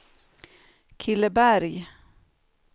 Killeberg